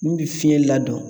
Min bɛ fiyɛn ladon.